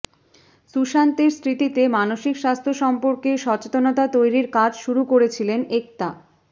সুশান্তের স্মৃতিতে মানসিক স্বাস্থ্য সম্পর্কে সচেতনতা তৈরির কাজ শুরু করেছিলেন একতা